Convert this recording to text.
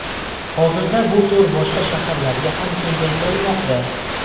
Hozirda bu to‘r boshqa shaharlarga ham kengaytirilmoqda.